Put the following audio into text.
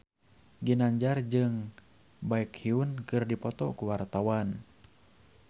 Ginanjar jeung Baekhyun keur dipoto ku wartawan